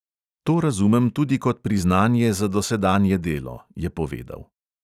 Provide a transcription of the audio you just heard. To razumem tudi kot priznanje za dosedanje delo, je povedal.